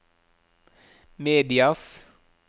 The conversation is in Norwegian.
medias